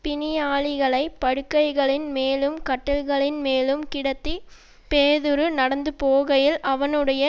பிணியாளிகளைப் படுக்கைகளின் மேலும் கட்டில்களின்மேலும் கிடத்தி பேதுரு நடந்துபோகையில் அவனுடைய